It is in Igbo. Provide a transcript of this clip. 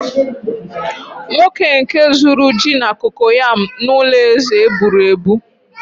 nwoke nke zuru ji na kokoyam n'ulo eze eb͕uru eb͕u